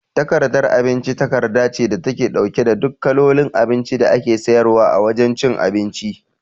Takardar abinci takarda ce da take ɗauke da duk kalolin abinci da ake siyarwa a wajan cin abinci